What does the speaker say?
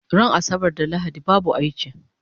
Ran asabar da lahadi babu aiki